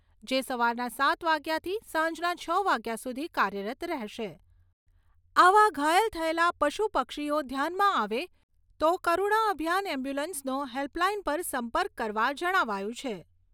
જે સવારના સાત વાગ્યાથી સાંજના છ વાગ્યા સુધી કાર્યરત રહેશે. આવા ઘાયલ થયેલા પશુ પક્ષીઓ ધ્યાનમાં આવે તો કરૂણા અભિયાન એમ્બ્યુલન્સનો હેલ્પલાઇન પર સંપર્ક કરવા જણાવાયું છે.